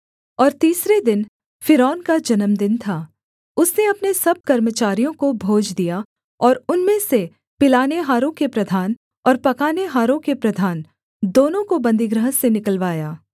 और तीसरे दिन फ़िरौन का जन्मदिन था उसने अपने सब कर्मचारियों को भोज दिया और उनमें से पिलानेहारों के प्रधान और पकानेहारों के प्रधान दोनों को बन्दीगृह से निकलवाया